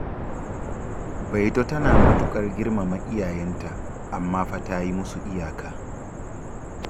Baito tana matuƙar girmama iyayenta, amma fa ta yi musu iyaka.